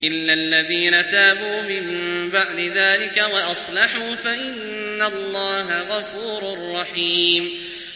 إِلَّا الَّذِينَ تَابُوا مِن بَعْدِ ذَٰلِكَ وَأَصْلَحُوا فَإِنَّ اللَّهَ غَفُورٌ رَّحِيمٌ